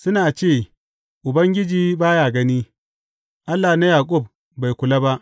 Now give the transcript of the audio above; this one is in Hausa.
Suna ce, Ubangiji ba ya gani; Allah na Yaƙub bai kula ba.